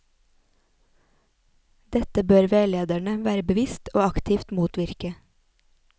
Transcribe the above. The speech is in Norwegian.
Dette bør veilederne være bevisst og aktivt motvirke.